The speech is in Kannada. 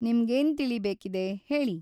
ನಿಮ್ಗೇನ್ ತಿಳಿಬೇಕಿದೆ, ಹೇಳಿ?